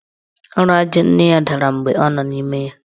Ụlọ aja nne ya dara mgbe ọ nọ n' ime ya.